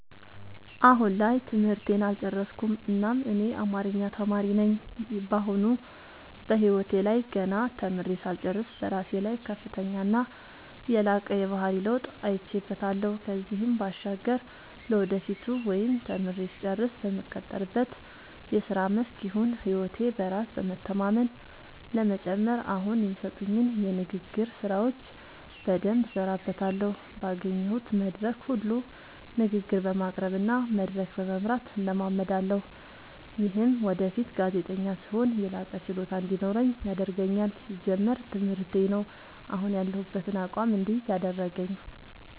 አሁን ላይ ትምህርቴን አልጨረስኩም እናም እኔ አማሪኛ ተማሪ ነኝ በአሁኑ በህይወቴ ላይ ገና ተምሬ ሳልጨርስ በራሴ ላይ ከፍተኛና የላቀ የባህሪ ለውጥ አይቼበታለው ከዚህም ባሻገር ለወደፊቱ ወይም ተምሬ ስጨርስ በምቀጠርበት የስራ መስክ ይሁን ህይወቴ በራስ በመተማመን ለመጨመር አሁኒ የሚሰጡኝን የንግግር ስራዎች በደምብ እሠራበታለሁ ባገኘሁት መድረክ ሁሉ ንግግር በማቅረብ እና መድረክ በመምራት እለማመዳለሁ። ይምህም ወደፊት ጋዜጠኛ ስሆን የላቀ ችሎታ እንዲኖረኝ ያደርገኛል። ሲጀመር ትምህርቴ ነው። አሁን ያሁበትን አቋም እድይዝ ያደረገኝ።